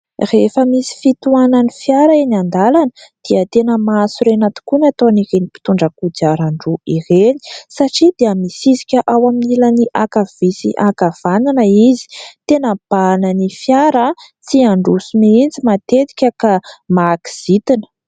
Rehefa misy fitohanan'ny fiara eny an-dalana dia tena mahasorena tokoa ny ataon'ireny mpitondra kodiaran-droa ireny, satria dia misisika ao amin'ny ilany ankavia sy ankavanana izy. Tena mibahana ny fiara tsy handroso mihitsy matetika ka mahakizintina.